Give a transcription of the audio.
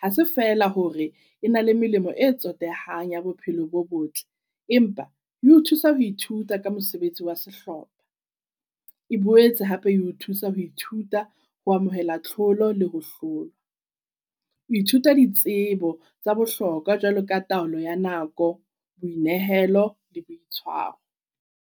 Ha se feela hore e na le melemo e tsotehang ya bophelo bo botle. Empa di o thusa ho ithuta ka mosebetsi wa sehlopha, e boetse hape eo thusa ho ithuta ho amohela tlholo le ho hlolwa. Ho ithuta ditsebo tsa bohlokwa jwalo ka taolo ya nako, boinehelo le boitshwaro.